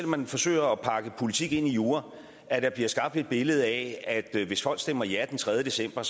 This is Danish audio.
man forsøger at pakke politik ind i jura at der bliver skabt et billede af at hvis folk stemmer ja den tredje december